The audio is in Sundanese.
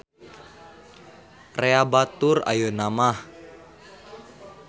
Rea batur ayeuna mah.